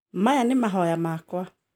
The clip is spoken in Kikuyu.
Maya nĩ no mahonya makwa